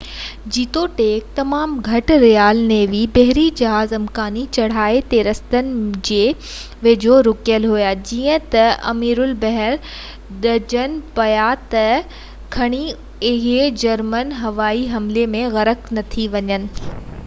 جيتوڻيڪ تمام گهٽ رائل نيوي بحري جهاز امڪاني چڙهائي جي رستن جي ويجهو رُڪيل هئا جئين ته اميرالبحر ڊڄن پيا ته ڪٿي اهي جرمن هوائي حملي ۾ غرق نه ٿي وڃن